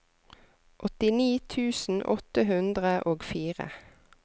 åttini tusen åtte hundre og fire